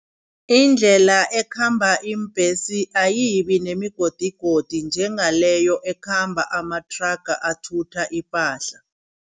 Indlela ekhamba iimbesi ayibi nemigodigodi njengaleyo ekhamba amathraga athutha ipahla.